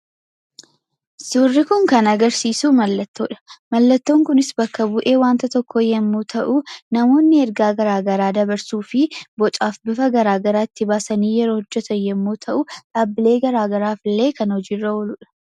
Suurri kun kan agarsiisu mallattoo dha. Mallattoon kunis bakka-bu'ee wanta tokkoo yommuu ta'u, namoonni ergaa garaagaraa dabarsuu fi bocaaf bifa garaagaraa itti baasanii yeroo hojjetan yommuu ta'u, dhaabbilee garaagaraaf illee kan hojiirra ooluu dha.